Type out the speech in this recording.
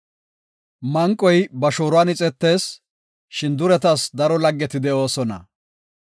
Manqoy ba shooruwan ixetees; shin duretas daro laggeti de7oosona.